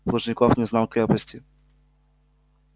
плужников не знал крепости